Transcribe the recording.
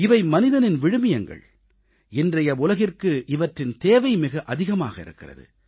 இவை மனிதத்தின் விழுமியங்கள் இன்றைய உலகிற்கு இவற்றின் தேவை மிக அதிகமாக இருக்கிறது